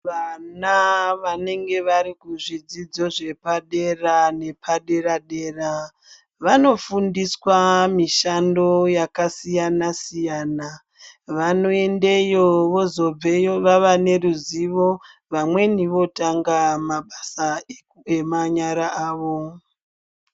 Vana vanenge vari kuzvidzidzo zvepadera nepadera dera vanofundiswa mishando yakasiyana siyana vanoendayo vozobveyo vava neruzivo vamweni votanga mabasa emanyara awo.